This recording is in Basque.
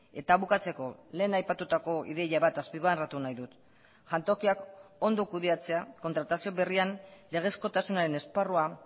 eta bukatzeko lehen aipatutako ideia bat azpimarratu nahi dut jantokiak ondo kudeatzea kontratazio berrian legezkotasunaren esparrua